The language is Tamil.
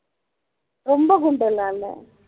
ரொம்ப குண்டெல்லாம் இல்ல